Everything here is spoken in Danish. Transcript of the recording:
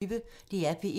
DR P1